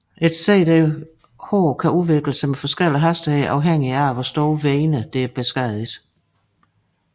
Et SDH kan udvikle sig med forskellig hastighed afhængigt af hvor store vener der er beskadigede